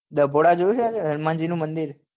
ડભોડા જોયું છે ને હનુમાન જી નું મંદિર